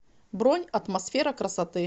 бронь атмосфера красоты